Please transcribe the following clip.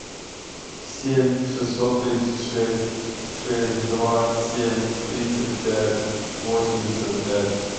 семь шестьсот тридцать шесть шесть два семь тридцать пять восемьдесят пять